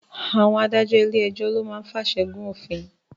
Àwọn adájọ́ ilé ẹjọ́ lo máa ń fàṣẹ gùn òfin